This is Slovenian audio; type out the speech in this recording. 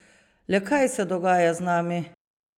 Le kaj se dogaja z nami?